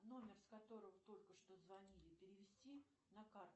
номер с которого только что звонили перевести на карту